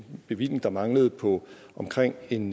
bevilling der manglede på omkring en